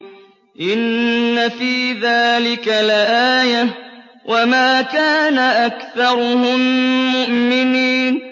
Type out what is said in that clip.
إِنَّ فِي ذَٰلِكَ لَآيَةً ۖ وَمَا كَانَ أَكْثَرُهُم مُّؤْمِنِينَ